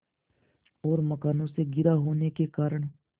और मकानों से घिरा होने के कारण